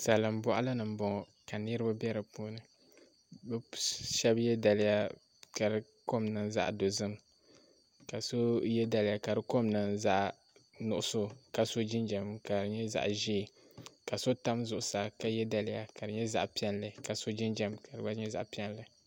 Salin boɣali ni n boŋo ka niraba bɛ di puuni bi shab yɛ daliya ka di kom niŋ zaɣ dozim ka so yɛ daliya ka di kom niŋ zaɣ nuɣso ka so jinjɛm ka di nyɛ zaɣ ʒiɛ ka so tam zuɣusaa ka yɛ daliya ka di nyɛ zaɣ piɛlli ka so jinjɛm ka di gba nyɛ zaɣ piɛlli